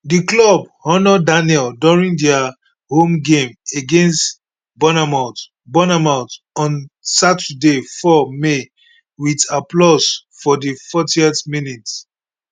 di club honour daniel during dia home game against bournemouth bournemouth on saturday 4 may wit applause for di 14th minute